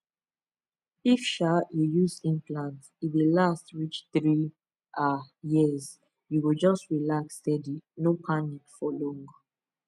if um you use implant e dey last reach three um years you go just relax steady no panic for long